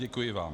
Děkuji vám.